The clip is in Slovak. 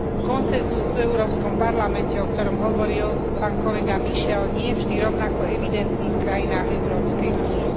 Konsenzus v Európskom parlamente, o ktorom hovoril pán kolega Michel, nie je vždy rovnako evidentný v krajinách Európskej únie.